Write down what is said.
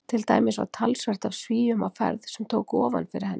Til dæmis var talsvert af Svíum á ferð sem tóku ofan fyrir henni.